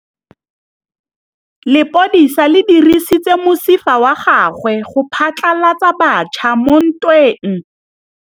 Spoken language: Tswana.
Lepodisa le dirisitse mosifa wa gagwe go phatlalatsa batšha mo ntweng.